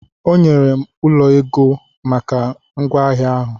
Onyere m ụlọ ego maka ngwaahịa ahụ.